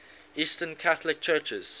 eastern catholic churches